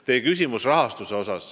Te märkiste ka rahastust.